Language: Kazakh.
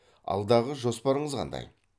алдағы жоспарыңыз қандай